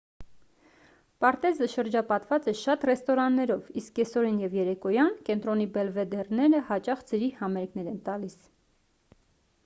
պարտեզը շրջապատված է շատ ռեստորաններով իսկ կեսօրին և երեկոյան կենտրոնի բելվեդերները հաճախ ձրի համերգներ են տալիս